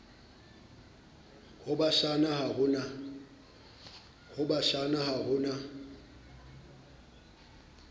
bo bashana ha ho na